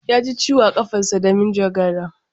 Yaji ciwo a ƙafansa da manjagara